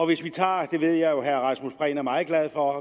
vi tager og det ved jeg jo at herre rasmus prehn er meget glad for